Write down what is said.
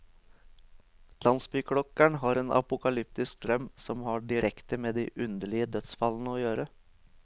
Landsbyklokkeren har en apokalyptisk drøm, som har direkte med de underlige dødsfallene å gjøre.